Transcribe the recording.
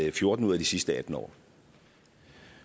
i fjorten ud af de sidste atten år